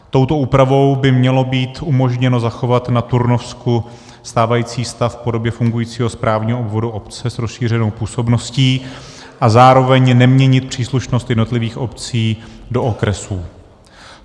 Touto úpravou by mělo být umožněno zachovat na Turnovsku stávající stav v podobě fungujícího správního obvodu obce s rozšířenou působností a zároveň neměnit příslušnost jednotlivých obcí do okresů.